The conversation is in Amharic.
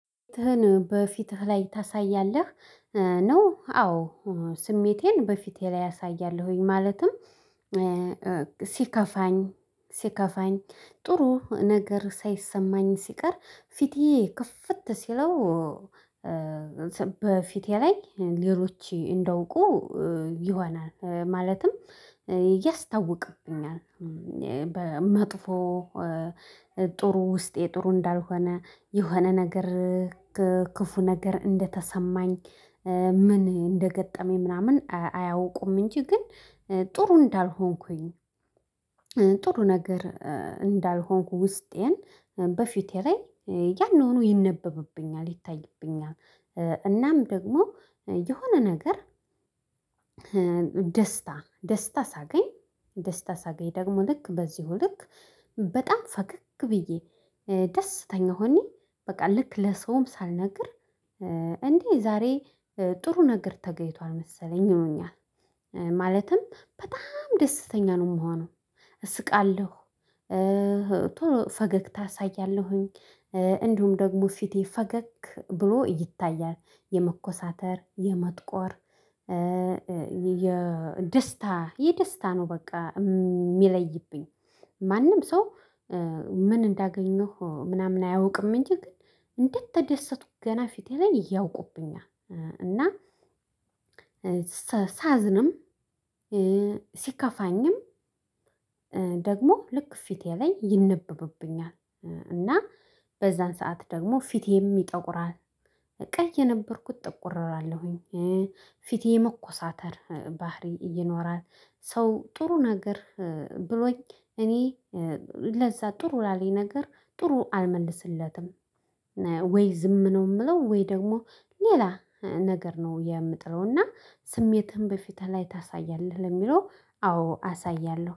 በፊትህ ላይ ታሳያለህ ነው? አዎ ስሜቴን በፊቴ ላይ አሳያለሁኝ። ማለትም ሲከፋኝ ሲከፋኝ ጥሩ ነገር ሳይሰማኝ ሲቀር ፊቴ ከፍት ሲለው። በፊቴ ላይ ሌሎች እንደውቁ ይሆናል ማለትም ያስታውቁብኛል። በመጥፎ ጥሩ ውስጤ ጥሩ እንዳልሆነ የሆነ ነገር ክፉ ነገር እንደተሰማኝ ምን እንደገጠመኝ ምናምን አያውቁም እንጂ ግን ጥሩ እንዳልሆንኩኝ። ጥሩ ነገር እንዳልሆንኩ ውስጤን በፊቴ ላይ ያኑኑ ይነበብብኛል ይታይብኛል። እናም ደግሞ የሆነ ነገር ደስታ ደስታ ሳገኝ ደስታ ሳገኝ ደግሞ ልክ በዚሁ ልክ በጣም ፈከክ ብዬ ደስተኛ ሁኜ በቃ ልክ ለሰውም ሳልነግር እንዴ ዛሬ ጥሩ ነገር ተገኝቷል መሰለኝ ይሉኛል ማለትም በጣም ደስተኛ ነው የምሆነው። እስቃለሁ። ፈገግታ አሳያለሁኝ እንዲሁም ደግሞ ፊቴ ፈገግ ብሎ ይታያል የመኮሳተር የመጥቆር የደስታ የደስታ ነው በቃ የሚለይብኝ። ማንም ሰው ምን እንዳገኘሁ ምናምን አያውቅም እንጂ ግን እንደተደሰቱ ገና ፊቴ ላይ ያውቁብኛል። እና ሳዝንም ሲከፋኝም ደግሞ ልክ ፊቴ ላይ ይነበብብኛል። እና በዛን ሰዓት ደግሞ ፊቴም ይጠቁራል። ቀይየነበርኩት ጥቁር እላለሁ ፊቴ መኮሳተር ባህሪ ይኖራል ሰው ጥሩ ነገር ብሎኝ እኔ ለዛ ጥሩ ላለኝ ነገር ጥሩ አልመልስለትም። ወይ ዝም ነው የምለው ወይ ደግሞ ሌላ ነገር ነው የምጥለው። እና ስሜትን በፊትህ ላይ ታሳያለህ? ለሚለው አዎ አሳያለሁ